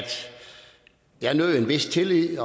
jeg nød en vis tillid i